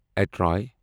اترای